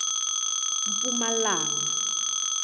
mpumalanga